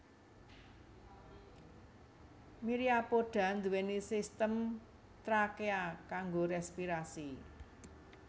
Myriapoda nduwé sistem trakea kanggo respirasi